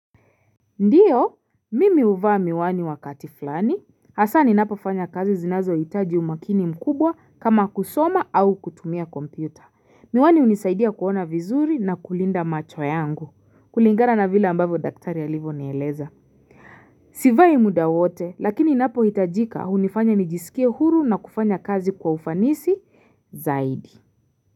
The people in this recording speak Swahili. Ndiyo, mimi huvaa miwani wakati fulani, hasa ninapofanya kazi zinazohitaji umakini mkubwa kama kusoma au kutumia kompyuta. Miwani hunisaidia kuona vizuri na kulinda macho yangu. Kulingana na vile ambavyo daktari alivyonieleza. Sivai muda wote, lakini inapohitajika hunifanya nijisikie huru na kufanya kazi kwa ufanisi zaidi.